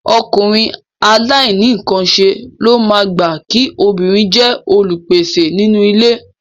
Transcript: Ọkùnrin àìnínǹkanṣe ló máa gbà kí obìnrin jẹ́ olùpèsè nínú ilé